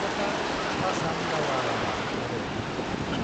क'टार, पासां दावा लामा आरो